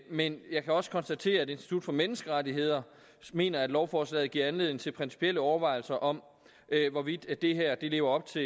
men jeg kan også konstatere at institut for menneskerettigheder mener at lovforslaget giver anledning til principielle overvejelser om hvorvidt det her lever op til